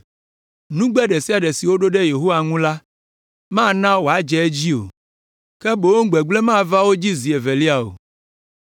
Nugbe ɖe sia ɖe si woɖo ɖe Yehowa ŋu la, mana wòadze edzi o, ke boŋ gbegblẽ mava na wo zi evelia o.